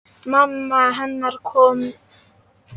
Mamma hennar komin.